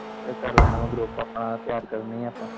ਕਹਿੰਦਾ ਮੈ ਕਰ ਲੈਣਾ ਮੈਂ ਗਰੁੱਪ ਆਪਣਾ ਤਿਆਰ ਕਰਨ ਨੇ ਆ ਆਪਾਂ।